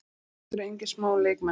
Og þetta voru engir smá leikmenn.